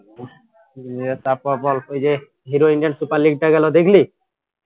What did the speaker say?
উম নিয়ে তারপর বল ওইযে hero indian super league টা গেল দেখলি